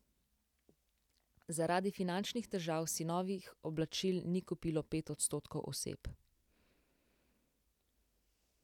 Zaradi finančnih težav si novih oblačil ni kupilo pet odstotkov oseb.